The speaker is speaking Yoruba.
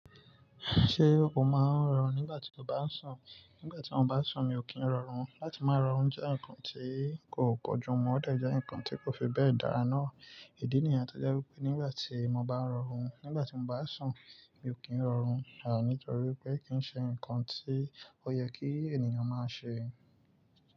Ṣé o máa ń rọrún nígbà tí o bá ń sùn? Nígbà tí mo bá ń sùn, mi ò kí ń rọrún. Láti máa rọrún jẹ́ nǹkan tí kò pọ̀jù. Mo mọ̀ de jẹ́ nǹkan tí kò fi bẹ́ẹ̀ dára ná. Ìdí nìyen tọ́je wipé nígbà tí mo bá ń rọrún, nígbà tí mo bá ń sùn, mi ò kí ń rọrún. À nítorí pé kí í ṣe nǹkan tí ó yẹ kí ènìyàn máa ṣe.